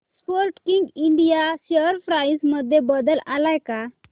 Sportking India share price मध्ये बदल आलाय का